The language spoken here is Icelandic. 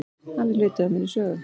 Hann er hluti af minni sögu.